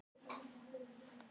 Annarra sé að gera það.